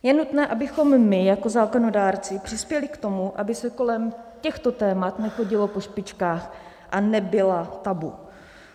Je nutné, abychom my jako zákonodárci přispěli k tomu, aby se kolem těchto témat nechodilo po špičkách a nebyla tabu.